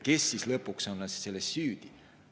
Kes siis lõpuks selles süüdi on?